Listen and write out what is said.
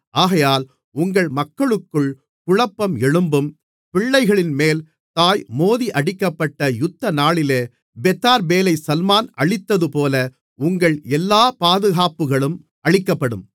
ஆகையால் உங்கள் மக்களுக்குள் குழப்பம் எழும்பும் பிள்ளைகளின்மேல் தாய் மோதியடிக்கப்பட்ட யுத்தநாளிலே பெத்தார்பேலைச் சல்மான் அழித்ததுபோல உங்கள் எல்லா பாதுகாப்புகளும் அழிக்கப்படும்